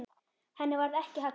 Henni varð ekki haggað.